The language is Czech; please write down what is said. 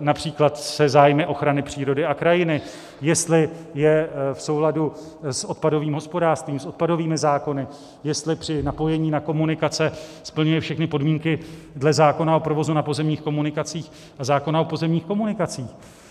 například se zájmy ochrany přírody a krajiny, jestli je v souladu s odpadovým hospodářstvím, s odpadovými zákony, jestli při napojení na komunikace splňuje všechny podmínky dle zákona o provozu na pozemních komunikacích a zákona o pozemních komunikacích.